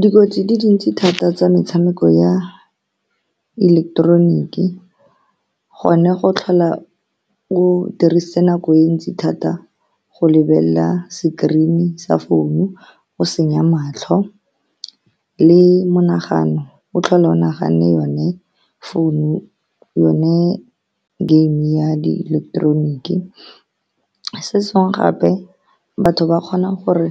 Dikotsi di dintsi thata tsa metshameko ya ileketeroniki. Gone go tlhola o dirisitse nako e ntsi thata go lebelela screen-i sa founu, go senya matlho le monagano. O tlhola o nagane yone phone, yone game ya diileketeroniki. Se sengwe gape, batho ba kgona gore